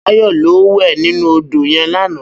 Bayo lò wè ninú ódó yèn làná